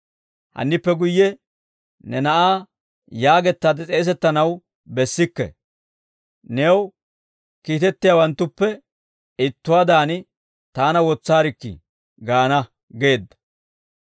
Hannippe guyye ne na'aa yaagettaade s'eesettanaw bessikke; new kiitettiyaawanttuppe ittuwaadan taana wotsaarikkii gaana› geedda.